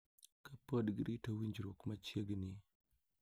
Ka pod girito winjruok machiegni.